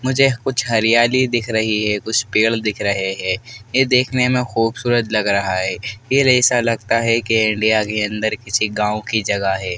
मुझे कुछ हरियाली दिख रही है कुछ पेड़ दिख रहे हैं ये देखने में खूबसूरत लग रहा है फिर ऐसा लगता है कि इंडिया के अंदर किसी गाँव की जगह है।